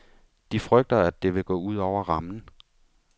De frygter, at det vil gå ud over rammen.